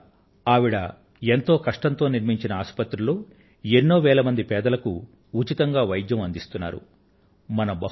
ఇవాళ ఆవిడ ఎంతో కష్టంతో నిర్మించిన ఆసుపత్రిలో వేల మంది పేదలకు ఉచిత వైద్యం అందించడం జరుగుతోంది